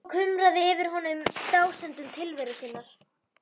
Svo kumraði í honum yfir dásemdum tilveru sinnar.